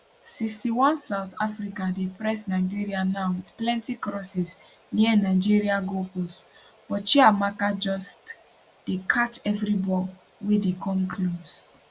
61 south africa dey press nigeria now wit plenti crosses near nigeria goal post but chiamaka just dey catch evri ball wey dey come close